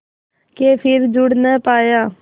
के फिर जुड़ ना पाया